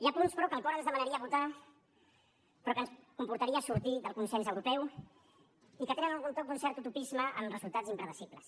hi ha punts però que el cor ens demanaria votar los però que ens comportaria sortir del consens europeu i que tenen algun toc d’un cert utopisme amb resultats impredictibles